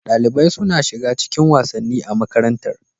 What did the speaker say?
Dalibai suna shiga cikin wasanni a makarantar.